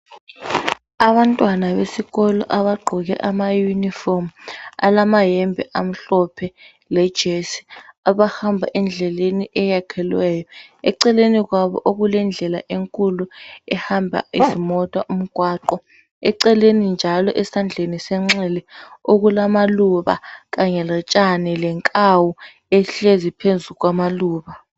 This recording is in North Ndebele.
Abantwana besikolo abagqoke amayunifomu alamayembe amhlophe lejesi abahamba endleleni eyakhelweyo eceleni kwabo okulendllela enkulu ehamba izimota umgwaqo eceleni njalo esandleni senxele okulamaluba kanye lotshani lenkawu ehlezi phezu kwamaluba.